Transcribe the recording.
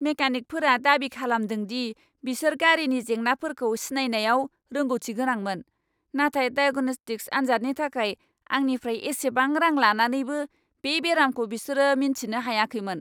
मेकानिकफोरा दाबि खालामदों दि बिसोर गारिनि जेंनाफोरखौ सिनायनायाव रोंगौथि गोनांमोन, नाथाय दायेग'न'स्टिक्स आनजादनि थाखाय आंनिफ्राय एसेबां रां लानानैबो बे बेरामखौ बिसोर मिन्थिनो हायाखैमोन!